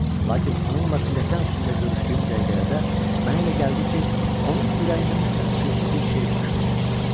Lakin onunla pilləkan üstündə görüşdüyüm dəqiqələrdə mənə elə gəldi ki, onun ürəyində nəsə xüsusi bir şey baş vermişdi.